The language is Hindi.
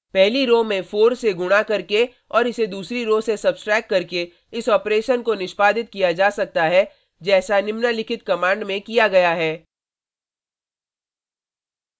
पहली रो में 4 से गुणा करके और इसे दूसरी रो से सब्ट्रैक्ट करके इस ऑपरेशन को निष्पादित किया जा सकता है जैसा निम्नलिखित कमांड में किया गया है: